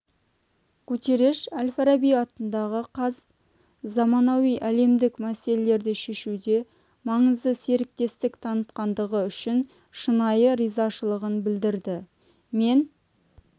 гутерреш әл-фараби атындағы қаз заманауи әлемдік мәселелерді шешуде маңызды серіктестік танытқандығы үшін шынайы ризашылығын білдірді мен